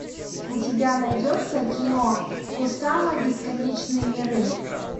у тебя найдется кино кусама бесконечные миры